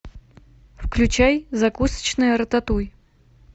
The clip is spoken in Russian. включай закусочная рататуй